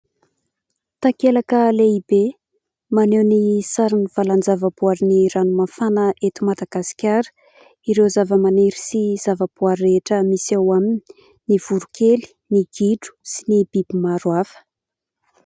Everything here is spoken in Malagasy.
Takelaka lehibe maneho ny sarin'ny valan_java_boarin_dRanomafana eto Madagasikara. Ireo zava_maniry sy zava_boary rehetra misy eo aminy : ny voron_kely, ny gidro sy ny biby maro hafa.